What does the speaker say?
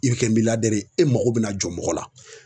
I bi kɛ ye e mago bɛna jɔ mɔgɔ la